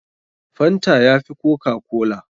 Fanta ya fi kokakola.